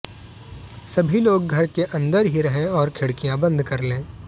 सभी लोग घर के अंदर ही रहें और खिड़कियां बंद कर लें